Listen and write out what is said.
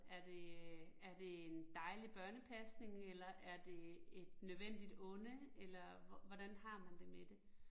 Er det øh er det en dejlig børnepasning eller er det et nødvendigt onde, eller hvordan har man det med det